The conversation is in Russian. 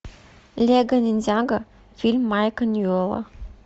лего ниндзяго фильм майка ньюэлла